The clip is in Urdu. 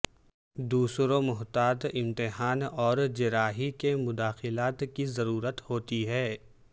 دوسروں محتاط امتحان اور جراحی کے مداخلت کی ضرورت ہوتی ہے